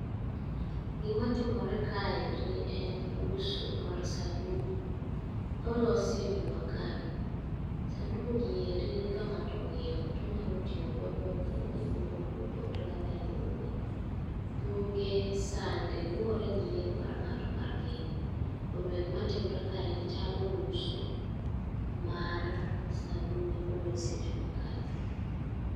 Gimatimore kaeri en uso mar sanduku molosi e jua kali. Sanduku gieri ka ng'ato ong'iewo tonyalo tiyogodo e kano gik mopogore opogore kaka lewni, buge, sande luwore gi yiero mar ng'ato mar keno. Omiyo gima timore kaeri chalo uso mar sanduge molos e jua kali.